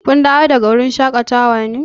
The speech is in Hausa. Kun dawo daga wurin shaƙatawa ne?